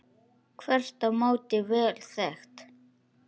Þvert á móti vel þekkt.